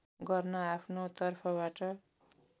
गर्न आफ्नो तर्फबाट